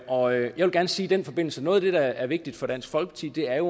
og jeg vil gerne sige i den forbindelse at noget af det der er vigtigt for dansk folkeparti er